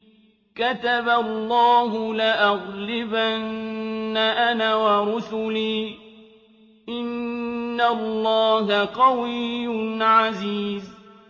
كَتَبَ اللَّهُ لَأَغْلِبَنَّ أَنَا وَرُسُلِي ۚ إِنَّ اللَّهَ قَوِيٌّ عَزِيزٌ